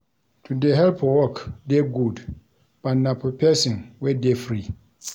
To dey help for work dey good but na for pesin wey dey free.